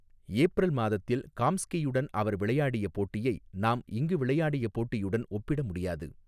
April மாதத்தில் காம்ஸ்கியுடன் அவர் விளையாடிய போட்டியை நாம் இங்கு விளையாடிய போட்டியுடன் ஒப்பிட முடியாது.